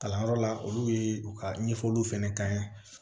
Kalanyɔrɔ la olu ye u ka ɲɛfɔliw fɛnɛ kɛ